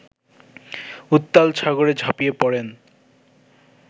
উত্তাল সাগরে ঝাঁপিয়ে পড়েন